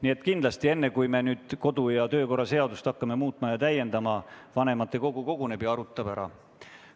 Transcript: Nii et kindlasti enne, kui me kodu- ja töökorra seadust muutma ja täiendama hakkame, tuleb vanematekogu kokku ja arutab probleemi.